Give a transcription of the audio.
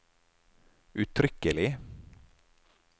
uttrykkelig